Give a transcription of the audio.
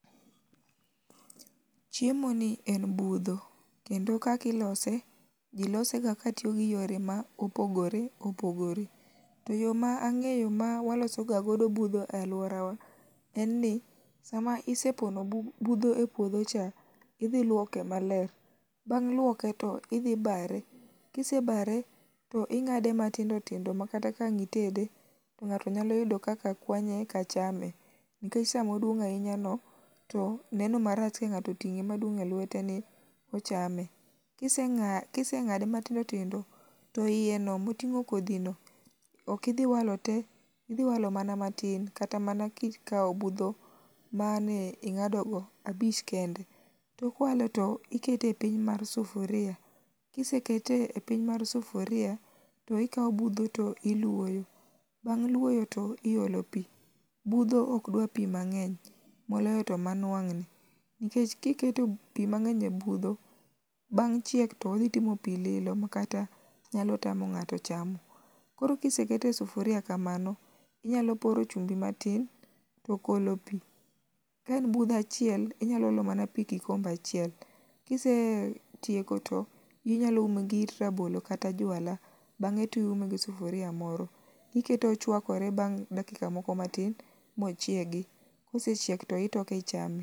chiemoni en budho, kendo kaka ilose, ji losega katiyo gi yore ma opogore opogore. To yo ma ang'eyo ma waloso ga godo budho e alworawa en ni sama isepono budho e puodhocha, idhi ilwoke maler, bang' lwoke to idhi bare, kisebare to ing'ade matindo tindo makata ka ang' itede, to ng'ato nyalo yudo kaka kwanye eka chame nikech samoduong' ahinyano, to neno marach ka ng'ato oting'e maduong' e lweteni, ochame. Kiseng'ade matindo tindo to iyeno moting'o kodhino, ok idhi walo te, idhi walo mana matin, kata mana kikawo budho mane ing'adogo abich kende. To ikete piny mar sufuria kisekete e piny mar sufuria to ikawo budho to ilwoyo, bang' lwoyo to iolo pi. Budho ok dwar pi mang'eny, moloyo to manwang'ni nikech kiketo pi mang'eny e budho, bang' chiek to odhi timo pi lilo makat nyalo tamo ng'ato chamo. koro kisekete e sufuria kamano, inyalo poro chumbi matin to golo pi. Ka en budho achiel, inyalo olo mana pi kikombe achiel, kisetieko to inyalo ume gi it rabolo kata jwala. Bang'e to iume gi sufuria moro, ikete ochwakore bang' dakika moko matin mochiegi. Kosechiek to itoke ichame.